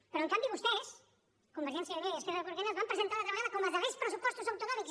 però en canvi vostès convergència i unió i esquerra republicana els van presentar altra vegada com els darrers pressupostos autonòmics